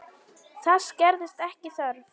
Þess gerðist ekki þörf.